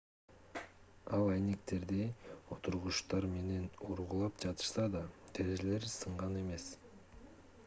эл айнектерди отургучтар менен ургулап жатышса да терезелер сынган эмес